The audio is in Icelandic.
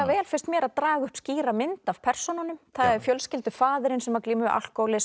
vel finnst mér að draga upp skýra mynd af persónunum það er fjölskyldufaðirinn sem glímir við alkóhólisma